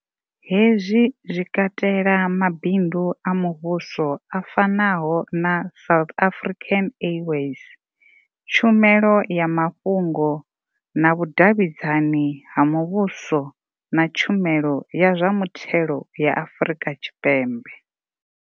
Hezwi zwi katela mabindu a muvhuso a fanaho na South African Airways, tshumelo ya ma fhungo na vhudavhidzani ha muvhuso na tshumelo ya zwa muthelo ya Afrika Tshipembe.